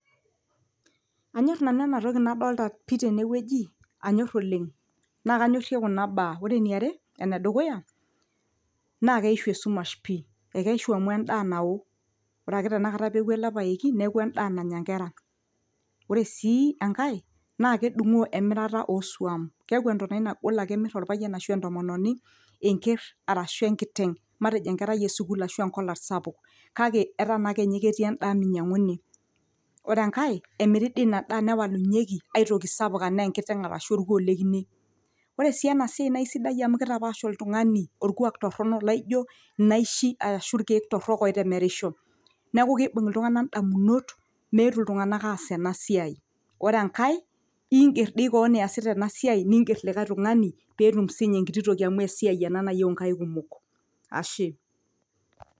anyorr nanu enatoki nadolta pii tenewueji anyorr oleng naa kanyorrie kuna baa ore eniare enedukuya naa keishu esumash pii ekeishu amu endaa nawo ore ake tenakata peeku ele paeki neeku endaa nanya inkera ore sii enkae naa kedung'oo emirata osuam keeku entonai nagol ake emirr orpayiani ashu entomononi enkerr arashu enkiteng matejo enkerai esukul arashu enkolat sapuk kake ataa naa inye ketii ake endaa minyiang'uni ore enkae emiri dii ina daa newalunyieki aitoki sapuk anaa enkiteng arashu orkuo lekine ore sii ena siai naa isidai amu kitapaash oltung'ani orkuak torrono laijo inaishi ashu irkeek torrok oitemerisho neeku keibung iltung'anak indamunot meetu iltung'anak aas ena siai ore enkae ingerr doi koon iyasita ena siai ningerr likae tung'ani petum sininye enkiti toki amu esiai ena nayieu inkaik kumok ashe.